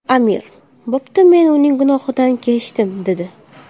Amir: – Bo‘pti, men uning gunohidan kechdim, - dedi.